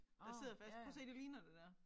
Der sidder fast prøv at se det ligner det der